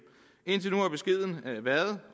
indtil nu har beskeden været